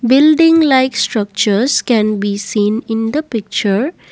building like structures can be seen in the picture.